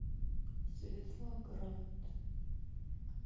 светлоград